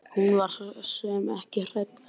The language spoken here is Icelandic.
Hún var svo sem ekki hrædd en.